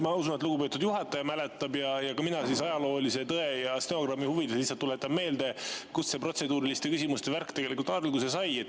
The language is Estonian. Ma usun, et lugupeetud juhataja mäletab ja mina ajaloolise tõe ja stenogrammi huvides lihtsalt tuletan meelde, kust see protseduuriliste küsimuste värk tegelikult alguse sai.